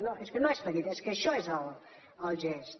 no és que no és petit és que això és el gest